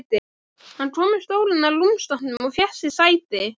Hann kom með stólinn að rúmstokknum og fékk sér sæti.